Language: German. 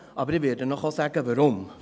Aber ich werde Ihnen auch sagen, warum.